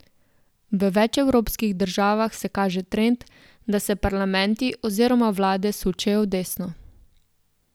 V več evropskih državah se kaže trend, da se parlamenti oziroma vlade sučejo v desno.